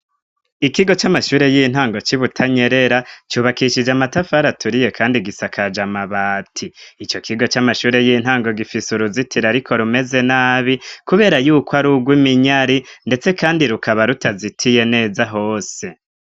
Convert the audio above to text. Ikigo c'amashure y'intango c' i Butanyerera cubakishije amatafari aturiye kandi gisakaje amabati. Ico kigo c'amashure y'intango gifise uruzitiro ariko rumeze nabi, kubera yuko ari urw'iminyari, ndetse kandi rukaba rutazitiye neza hose.